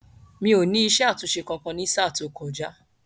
Mi ò ní isé àtúnṣe kankan ní sáà tó kọjá